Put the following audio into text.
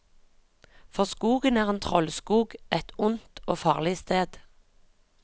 For skogen er en trollskog, et ondt og farlig sted.